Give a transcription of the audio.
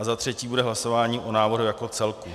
A za třetí bude hlasování o návrhu jako celku.